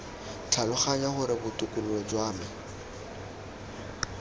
tlhaloganya gore botokololo jwa me